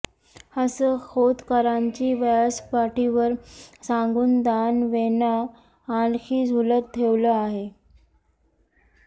असं खोतकरांची व्यासपीठावर सांगून दानवेंना आणखी झुलत ठेवलं आहे